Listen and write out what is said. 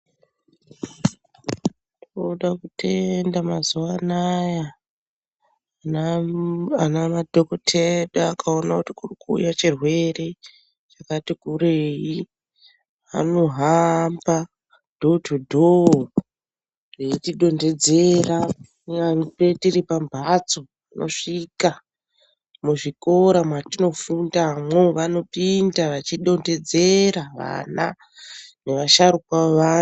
Toda kutenda mazuwa anaya ana madhokoti edu akaone kuti kuri kuuye chirwere chakati kurei anohamba muzi ngemuzi eyi tidontedzera kunyangwe tiri pamphatso anosvika, muzvikora mwatinofundamwo vanopinda vachidontedzera vana nevasharukwa vevantu.